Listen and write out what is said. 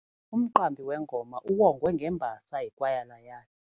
Umqambi wengoma uwongwe ngembasa yikwayala yakhe.